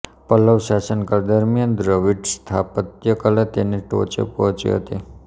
પલ્લવ શાસનકાળ દરમિયાન દ્રવિડ સ્થાપત્યકલા તેની ટોચે પહોંચી હતી